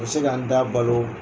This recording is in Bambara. se ka n da balo